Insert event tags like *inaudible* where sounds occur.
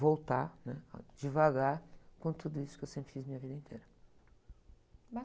voltar, né? Devagar, com tudo isso que eu sempre fiz na minha vida inteira. *unintelligible*